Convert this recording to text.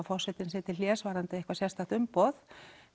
forsetinn sig til hlés varðandi eitthvað sérstakt umboð